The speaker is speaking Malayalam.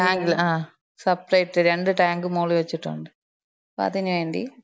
ടാങ്കില്, ആ, സപ്പറേറ്റ് രണ്ട് ടാങ്ക് മോളി വെച്ചിട്ടുണ്ട്. അപ്പതിന് വേണ്ടി.